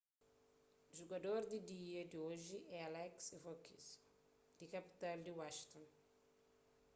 jugador di dia di oji é alex ovechkin di kapital di washington